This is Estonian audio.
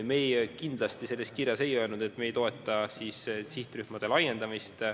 Me kindlasti selles kirjas ei öelnud, et me ei toeta sihtrühmade laiendamist.